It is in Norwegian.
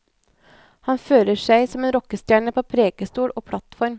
Han fører seg som en rockestjerne på prekestol og plattform.